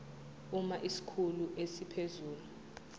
uma isikhulu esiphezulu